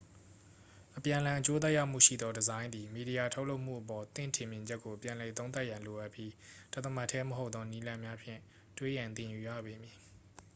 အပြန်အလှန် အကျိုးသက်ရောက်မှုရှိသော ဒီဇိုင်းသည် မီဒီယာ ထုတ်လုပ်မှုအပေါ် သင့်ထင်မြင်ချက်ကို ပြန်လည်သုံးသပ်ရန် လိုအပ်ပြီး တသမတ်တည်း မဟုတ်သော နည်းလမ်းများဖြင့် တွေးရန်သင်ယူရပေမည်